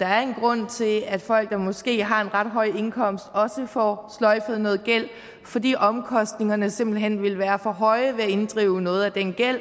der er en grund til at folk der måske har en ret høj indkomst også får sløjfet noget gæld fordi omkostningerne simpelt hen ville være for høje ved at inddrive noget af den gæld